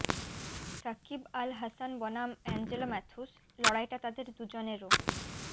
সাকিব আল হাসান বনাম অ্যাঞ্জেলো ম্যাথুস লড়াইটা তাঁদের দুজনেরও